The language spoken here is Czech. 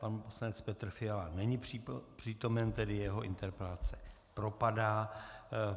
Pan poslanec Petr Fiala není přítomen, tedy jeho interpelace propadá.